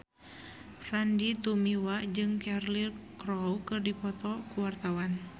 Sandy Tumiwa jeung Cheryl Crow keur dipoto ku wartawan